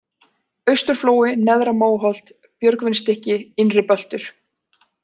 Austurflói, Neðra-Móholt, Björgvinsstykki, Innri-Böltur